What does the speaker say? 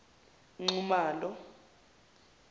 nxumalo